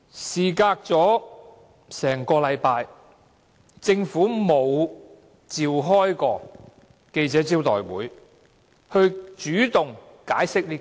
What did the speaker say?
事隔1星期後，政府沒有召開記者招待會主動解釋此事。